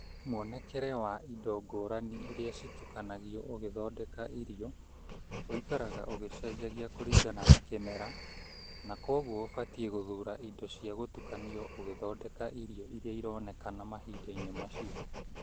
Mwonekere wa indo ngũrani iria citukanagio ũgĩthondeka irio ũikaraga ũgĩcenjangagia kũringana na kĩmera, na kwoguo ũbatiĩ gũthura indo cia gũtukanio ũgĩthondeka irio iria ironekana mahinda-inĩ macio.